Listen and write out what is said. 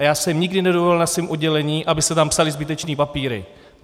A já jsem nikdy nedovolil na svém oddělení, aby se tam psaly zbytečné papíry.